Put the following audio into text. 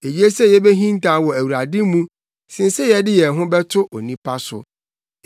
Eye sɛ yebehintaw wɔ Awurade mu, sen sɛ yɛde yɛn ho bɛto onipa so.